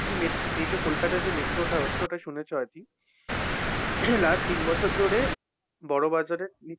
এই যে কোলকাতায় যে metro টা হচ্ছে ওটা শুনেছো আরকি? last তিন বছর ধরে বড়বাজারের নিচে।